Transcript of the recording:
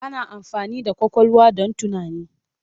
Ana amfani da ƙwaƙwalwa don tunani.